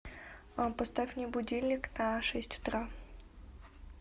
поставь мне будильник на шесть утра